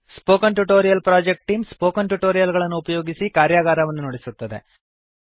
spoken tutorial project team spoken tutorial ಗಳನ್ನು ಉಪಯೋಗಿಸಿ ಕಾರ್ಯಗಾರವನ್ನು ನಡೆಸುತ್ತದೆ